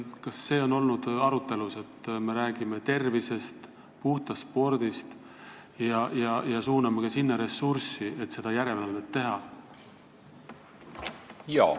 Kas see on olnud arutelu all, et kui me räägime tervisest ja puhtast spordist, siis tuleks ka sinna ressurssi suunata, et seda järelevalvet teha?